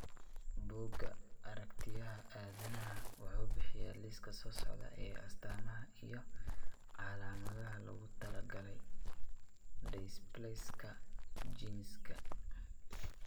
Bugga Aragtiyaha Aadanaha wuxuu bixiyaa liiska soo socda ee astaamaha iyo calaamadaha loogu talagalay dysplaska genkisa.